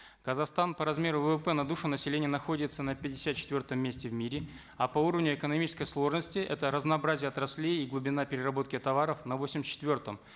казахстан по размеру ввп на душу населения находится на пятьдесят четвертом месте в мире а по уровню экономической сложности это разнообразие отраслей и глубина переработки товаров на восемьдесят четвертом